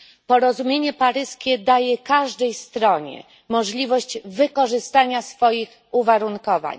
Porozumienie paryskie daje każdej stronie możliwość wykorzystania swoich uwarunkowań.